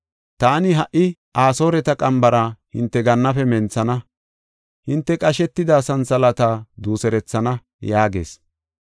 Taani ha77i Asooreta qambara hinte gannaafe menthana; hinte qashetida santhalaata duuserethana” yaagees.